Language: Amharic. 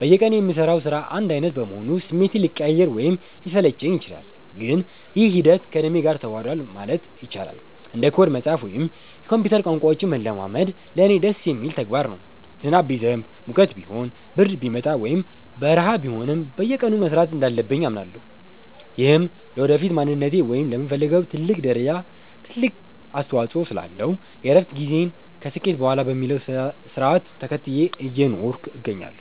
በየቀኑ የምሠራው ሥራ አንድ ዓይነት በመሆኑ ስሜቴ ሊቀያየር ወይም ሊሰለቸኝ ይችላል፤ ግን ይህ ሂደት ከደሜ ጋር ተዋህዷል ማለት ይቻላል። አንድ ኮድ መጻፍ ወይም የኮምፒውተር ቋንቋዎችን መለማመድ ለእኔ ደስ የሚል ተግባር ነው። ዝናብ ቢዘንብ፣ ሙቀት ቢሆን፣ ብርድ ቢመጣ ወይም በረሃ ቢሆንም፣ በየቀኑ መሥራት እንዳለብኝ አምናለሁ። ይህም ለወደፊት ማንነቴ ወይም ለምፈልገው ትልቅ ደረጃ ትልቅ አስተዋጽኦ ስላለው፣ የእረፍት ጊዜን ከስኬት በኋላ በሚለው ሥርዓት ተከትዬ እየኖርኩ እገኛለሁ።